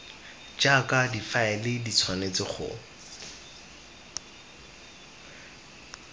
jaaka difaele di tshwanetse go